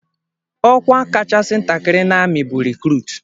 Ọkwa kachasị ntakịrị n'ami bụ rikrut.